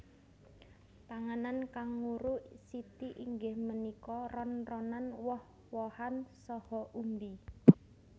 Panganan kanguru siti inggih punika ron ronan woh wohan saha umbi